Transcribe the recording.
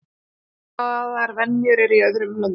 Svipaðar venjur eru í öðrum löndum.